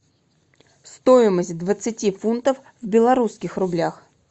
стоимость двадцати фунтов в белорусских рублях